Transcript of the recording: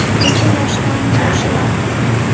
Necha yoshdan boshlab?